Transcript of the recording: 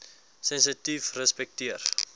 sensitiefrespekteer